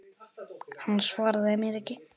Hann svaraði mér ekki.